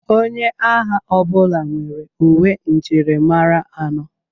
Onye agha ọbụla nwere uwe njirimara anọ.